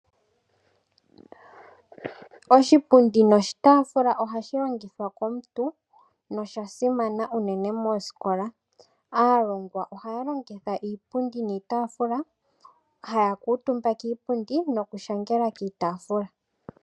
Oshipundi noshitafula ohashi longithwa komuntu nosha simana unene mooskola. Aalongwa ohaya longitha iipundi niitafula, haya kutumba kiipundi nokushangela kiitafula.